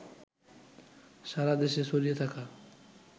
সারা দেশে ছড়িয়ে থাকা